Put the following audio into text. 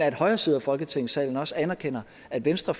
at højre side af folketingssalen også anerkender at venstre